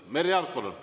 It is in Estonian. Merry Aart, palun!